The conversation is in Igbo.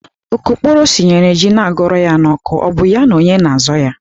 Okokporo sinyere ji na-agụrụ ya n'oku, ọ bụ ya na onye na-azọ ya?